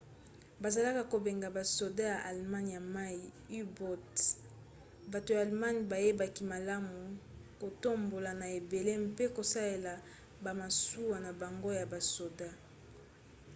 bazalaka kobenga basoda ya allemagne ya mai u-boats. bato ya allemagne bayebaki malamu kotambola na ebale mpe kosalela bamasuwa na bango ya basoda